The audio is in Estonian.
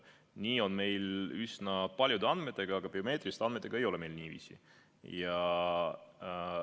Nii on meil üsna paljude andmetega, aga biomeetriliste andmetega meil niiviisi ei ole.